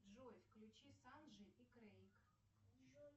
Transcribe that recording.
джой включи санджи и крейг